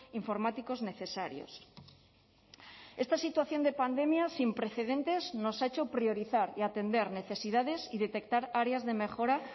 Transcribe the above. informáticos necesarios esta situación de pandemia sin precedentes nos ha hecho priorizar y atender necesidades y detectar áreas de mejora